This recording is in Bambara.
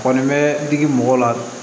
Kɔni bɛ digi mɔgɔw la